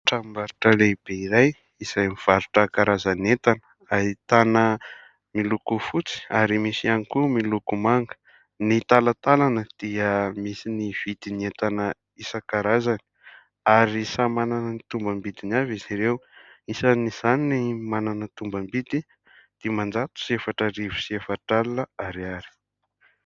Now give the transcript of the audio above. Tranombarotra lehibe iray izay mivarotra karazan'entana ahitana : miloko fotsy ary misy ihany koa miloko manga, ny talatalana dia misy ny vidin'entana isankarazany ary samy manana ny tombam-bidiny avy izy ireo ; isan'izany ny manana tombam-bidy dimanjato sy efatra arivo sy efatra alina ariary.